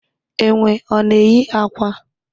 Enwe ọ na eyi akwa?